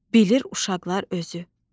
bilir uşaqlar özü.